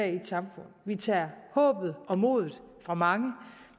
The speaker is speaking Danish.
et samfund vi tager håbet og modet fra mange